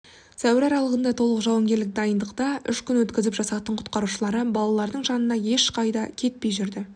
сәуір аралығында толық жауынгерлік дайындықта үш күн өткізіп жасақтың құтқарушылары балалардың жанынан ешқайда кетпей жүрді